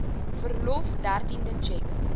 verlof dertiende tjek